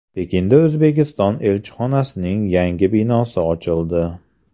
Pekinda O‘zbekiston elchixonasining yangi binosi ochildi .